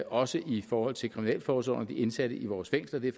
også i forhold til kriminalforsorgen og de indsatte i vores fængsler det er